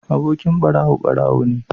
Abokin ɓarawo ɓarawo ne